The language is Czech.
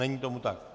Není tomu tak.